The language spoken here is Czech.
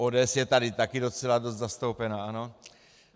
ODS je tady taky docela dost zastoupena, ano.